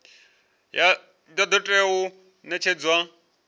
ya do tea u netshedzwa